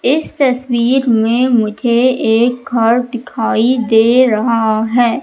इस तस्वीर में मुझे एक घर दिखाई दे रहा हैं।